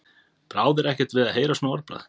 Brá þér ekkert við að heyra svona orðbragð?